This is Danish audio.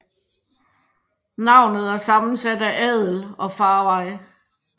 Navnet er sammensat af adel og farvej